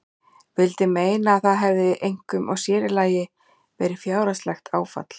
Vildi meina að það hefði einkum og sérílagi verið fjárhagslegt áfall.